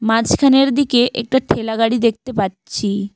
মাঝখানের দিকে একটা ঠেলা গাড়ি দেখতে পারছি।